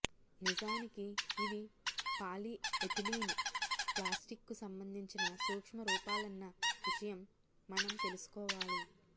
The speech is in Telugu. నిజానికి ఇవి పాలిఎథిలీన్ ప్లాస్టిక్కు సంబంధించిన సూక్ష్మ రూపాలన్న విషయం మనం తెలుసుకోవాలి